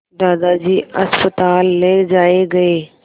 दादाजी अस्पताल ले जाए गए